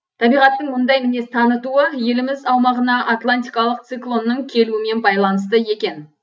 табиғаттың мұндай мінез танытуы еліміз аумағына атлантикалық циклоннның келуімен байланысты екен